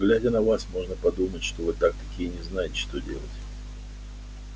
глядя на вас можно подумать что вы так таки и не знаете что делать